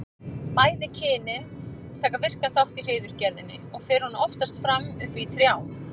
Bæði kynin taka virkan þátt í hreiðurgerðinni og fer hún oftast fram uppi í trjám.